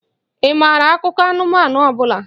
Ị maara akụkọ anụmanụ ọ bụla?